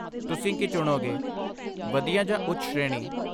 ਤੁਸੀਂ ਕੀ ਚੁਣੋਗੇ, ਵਧੀਆ ਜਾਂ ਉੱਚ ਸ਼੍ਰੇਣੀ?